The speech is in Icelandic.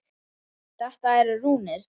Þetta eru rúnir.